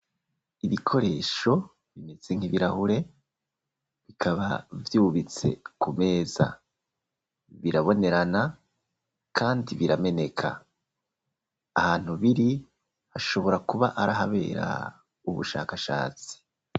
Ibikoresho bimeze nk'ibirahure bikaba vyubitse ku meza birabonerana kandi birameneka ahantu biri hashobora kuba arahabera ubushakashatsi.